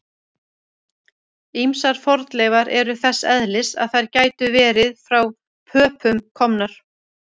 Ýmsar fornleifar eru þess eðlis að þær gætu verið frá Pöpum komnar.